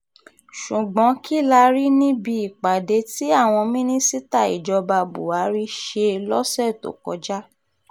ṣùgbọ́n kí la rí níbi ìpàdé tí àwọn mínísítà ìjọba buhari ṣe lọ́sẹ̀ tó kọjá